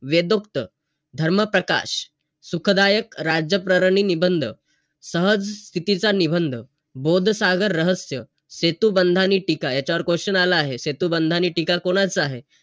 आनंद स्वतः पुरते ठेवून नाही तर दुसऱ्यांना वाटून